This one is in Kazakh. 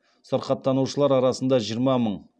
сырқаттанушылар арасында